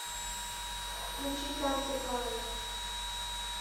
включи дантэ клайн